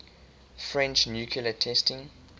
french nuclear testing